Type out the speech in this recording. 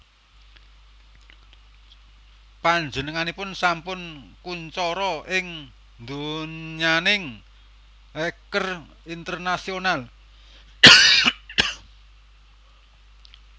Panjenenganipun sampun kuncara ing donyaning hacker internasional